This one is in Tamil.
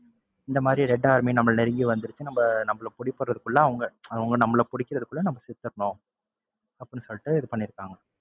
இந்த மாதிரி red army நம்மல நெருங்கி வந்துருச்சு நம்ப நம்மல அவங்க பிடிக்கிறதுக்குள்ள, அவங்க நம்மல அவங்க பிடிக்கிறதுக்குள்ள நம்ம செத்துறணும் அப்படின்னு சொல்லிட்டு இது பண்ணிருக்காங்க.